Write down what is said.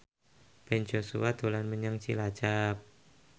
Ben Joshua dolan menyang Cilacap